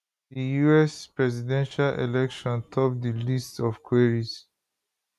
di us presidential election top di list of queries